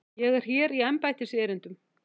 Ég er hér í embættiserindum.